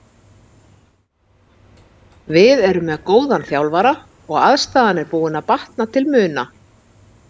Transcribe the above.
Við erum með góðan þjálfara og aðstaðan er búin að batna til muna.